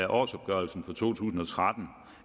årsopgørelsen for to tusind og tretten